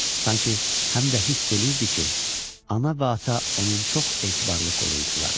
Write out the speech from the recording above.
Sanki həm də hiss eləyirdi ki, ana və ata onun çox etibarlı qoruyucularıdır.